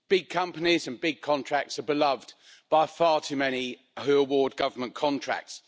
Big companies and big contracts are beloved by far too many who award government contracts.